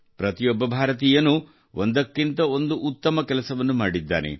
ಪ್ರತಿಯೊಬ್ಬ ಭಾರತೀಯನೂ ಒಂದಕ್ಕಿಂತ ಒಂದು ಉತ್ತಮ ಕೆಲಸವನ್ನು ಮಾಡಿದ್ದಾನೆ